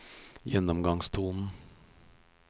gjennomgangstonen